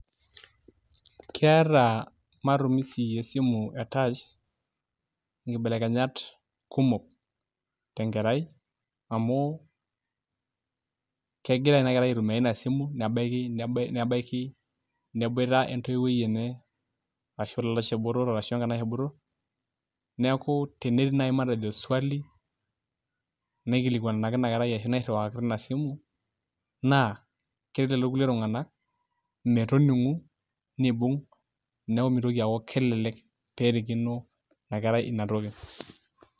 Keeta matumisi esimu etach inkibelekenyat kumok tenkerai amu, kegira inakerai aitumia inasimu nebaiki neboita entoiwuoi enye, ashu olalashe botor ashu enkanashe botor, neeku tenetii nai matejo swali naikilikwanaki inakera ashu nairriwakaki tinasimu, naa keret lelo kulie tung'anak metoning'u nibung',neeku mitoki aku kelelek perikino inakerai inatoki.